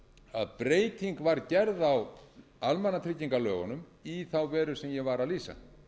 að breyting var gerð á almannatryggingalögunum í þá veru sem ég var að lýsa